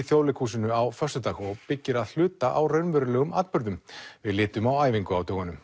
Þjóðleikhúsinu á föstudag og byggir að hluta á raunverulegum atburðum við litum á æfingu